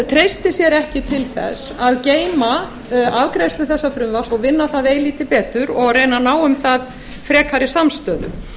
treysti sér ekki til þess að geyma afgreiðslu þessa frumvarps og vinna það eilítið betur og reyna að ná um það frekari samstöðu